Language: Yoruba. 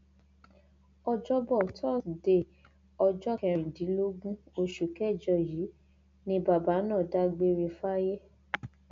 ọjọbọ tọsídẹẹ ọjọ kẹrìndínlógún oṣù kẹjọ yìí ni bàbá náà dágbére fáyé